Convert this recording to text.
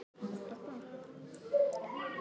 Hver verður biskup er óráðið enn.